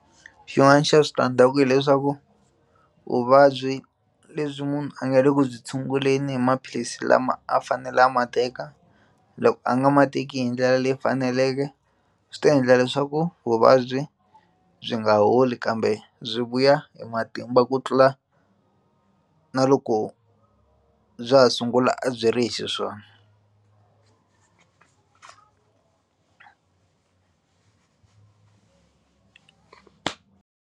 Xin'wana xa switandzhaku hileswaku vuvabyi lebyi munhu a nga le ku byi tshunguleni hi maphilisi lama a fanele a ma teka loko a nga ma teki hi ndlela leyi faneleke swi ta endla leswaku vuvabyi byi nga holi kambe byi vuya hi matimba ku tlula na loko bya ha sungula a byi ri hi xiswona.